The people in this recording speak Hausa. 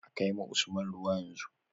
A kai ma Usman ruwa yanzu